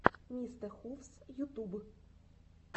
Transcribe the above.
мистэхувс ютуб